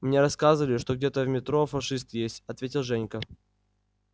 мне рассказывали что где-то в метро фашисты есть ответил женька